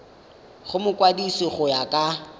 go mokwadise go ya ka